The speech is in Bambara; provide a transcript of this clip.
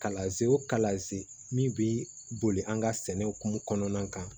Kalaze o kalazen min bi boli an ka sɛnɛ hukumu kɔnɔna kan